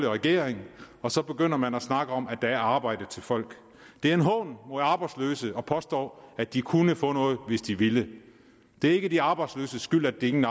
regering og så begynder man at snakke om at der er arbejde til folk det er en hån mod arbejdsløse at påstå at de kunne få noget hvis de ville det er ikke de arbejdsløses skyld at de ingen